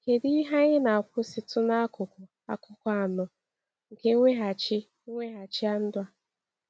Kedu ihe anyị na-akwụsịtụ n’akụkụ akụkọ anọ nke mweghachi mweghachi ndụ a?